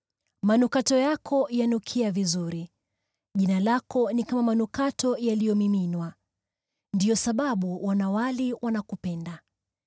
Manukato yako yananukia vizuri, jina lako ni kama manukato yaliyomiminwa. Ndiyo sababu wanawali wanakupenda!